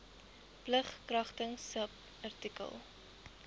plig kragtens subartikel